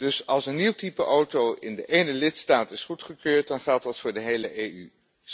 Dus als een nieuw type auto in de ene lidstaat is goedgekeurd dan geldt dat voor de hele EU.